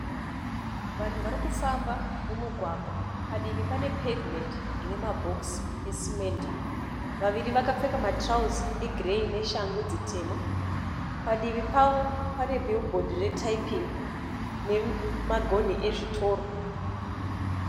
Vanhu varikufamba mumugwagwa padivi pane pevhimendi ine mabhokisi esimende vaviri vakapfeka matirauzi egireyi neshangu dzitema padivi pavo pane bhiribhodhi retaipingi nemagonhi ezvitoro.